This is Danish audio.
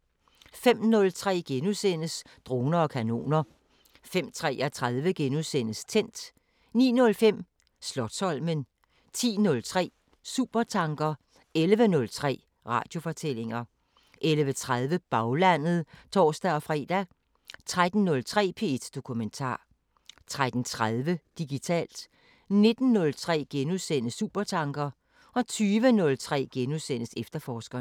05:03: Droner og kanoner * 05:33: Tændt * 09:05: Slotsholmen 10:03: Supertanker 11:03: Radiofortællinger 11:30: Baglandet (tor-fre) 13:03: P1 Dokumentar 13:30: Digitalt 19:03: Supertanker * 20:03: Efterforskerne *